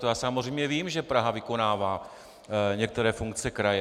To já samozřejmě vím, že Praha vykonává některé funkce kraje.